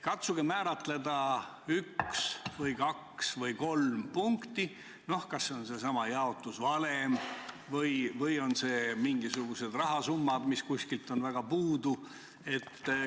Katsuge nimetada üks, kaks või kolm punkti – kas see võiks olla seesama jaotusvalem või on see mingisugune rahasumma, mis kuskilt on puudu?